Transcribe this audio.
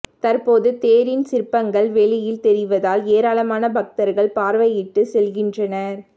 தற்போது தேரின் சிற்பங்கள் வெளியில் தெரிவதால் ஏராளமான பக்தர்கள் பார்வையிட்டு செல்கின்றனர்